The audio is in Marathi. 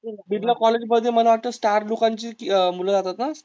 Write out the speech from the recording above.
बिरला कॉलेज मध्ये मला वाटतं स्टार लोकांची अं मुलं जातात ह.